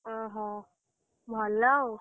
ଅହୋ ଭଲ ଆଉ।